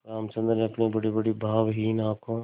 रामचंद्र ने अपनी बड़ीबड़ी भावहीन आँखों